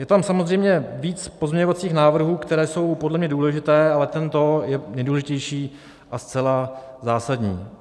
Je tam samozřejmě víc pozměňovacích návrhů, které jsou podle mě důležité, ale tento je nejdůležitější a zcela zásadní.